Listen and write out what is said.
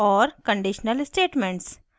और conditional statements